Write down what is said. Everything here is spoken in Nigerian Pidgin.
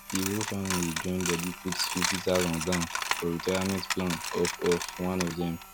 the whole family join body put fifty thousand down for retirement plan of of one of dem